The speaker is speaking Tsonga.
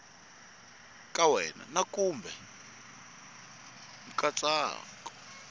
ka wena na kumbe nkatsako